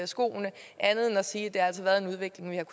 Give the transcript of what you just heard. skoene andet end at sige at det altså er en udvikling vi har